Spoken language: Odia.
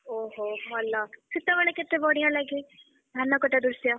ଓହୋ ଭଲ ସେତବେଳେ କେତେ ବଢିଆ ଲାଗେ ଧାନ କଟା ଦୃଶ୍ୟ?